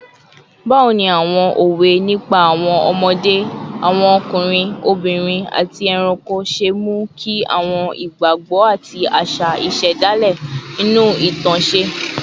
Báwo ni àwọn òwe nípa àwọn ọmọdé, àwọn ọkùnrin, obìnrin, àti ẹranko ṣe mú kí àwọn ìgbàgbọ́ àti àṣà àṣà ìṣẹ̀dálẹ̀ inú ìtàn ṣe?